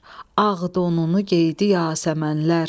ağ donunu geydi yasəmənlər.